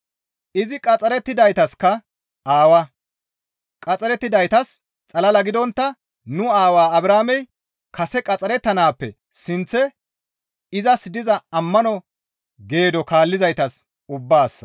Izi qaxxarettidaytaska aawa; qaxxarettidaytas xalala gidontta nu aawaa Abrahaamey kase qaxxarettanaappe sinththe izas diza ammano geedo kaallizaytas ubbaassa.